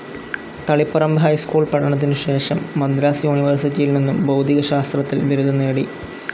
Taliparamba high school പഠനത്തിനുശേഷം മദ്രാസ്‌ യൂണിവേഴ്‌സിറ്റിയിൽ നിന്നും ഭൗതികശാസ്ത്രത്തിൽ ബിരുദം നേടി.